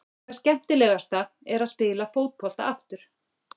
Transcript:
Það skemmtilegasta er að spila fótbolta aftur.